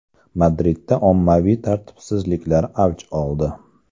Madridda ommaviy tartibsizliklar avj oldi.